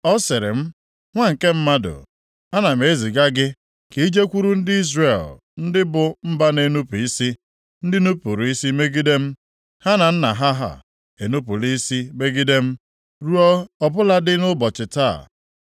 Ọ sịrị m, “Nwa nke mmadụ, ana m eziga gị ka i jekwuru ndị Izrel, ndị bụ mba na-enupu isi, ndị nupuru isi megide m. Ha na nna nna ha enupula isi megide m, ruo ọ bụladị nʼụbọchị taa.